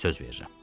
Söz verirəm.